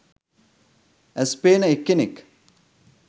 ඇස් පේන එක්කෙනෙක්